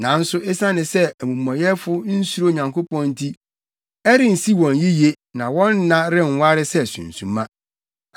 Nanso esiane sɛ amumɔyɛfo nsuro Onyankopɔn nti, ɛrensi wɔn yiye na wɔn nna renware sɛ sunsuma.